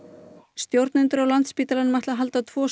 stjórnendur á Landspítalanum ætla að halda tvo